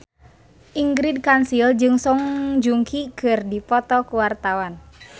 Ingrid Kansil jeung Song Joong Ki keur dipoto ku wartawan